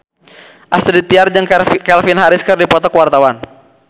Astrid Tiar jeung Calvin Harris keur dipoto ku wartawan